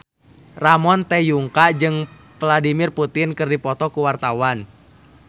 Ramon T. Yungka jeung Vladimir Putin keur dipoto ku wartawan